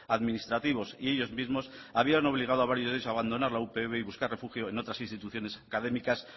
administrativos y ellos mismos habían obligado a varios de ellos a abandonar la upv y buscar refugio en otras instituciones académicas